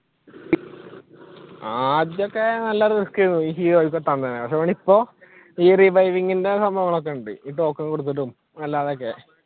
ആദ്യമൊക്കെ നല്ല risk ആയിരുന്നു ഇപ്പൊ ഈ reviving ന്റെ സംഭവങ്ങൾ ഒക്കെയുണ്ട് token കൊടുത്തിട്ടും അല്ലാതെയൊക്കെ